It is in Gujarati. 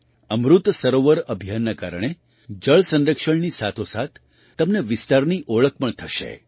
અમૃત સરોવર અભિયાનના કારણે જળ સંરક્ષણની સાથોસાથ તમને વિસ્તારની ઓળખ પણ થશે